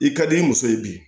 I ka di i muso ye bi